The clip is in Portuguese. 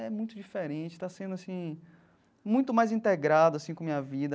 É muito diferente, está sendo assim, muito mais integrado assim com minha vida.